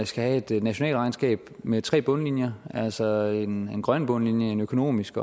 skal have et nationalt regnskab med tre bundlinjer altså en grøn bundlinje en økonomisk